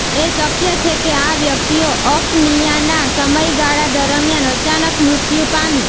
એ શક્ય છે કે આ વ્યક્તિઓ અફનિયાના સમયગાળા દરમિયાન અચાનક મૃત્યુ પામી